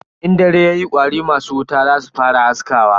In dare yayi kwari masu wuta zasu fara haskawa.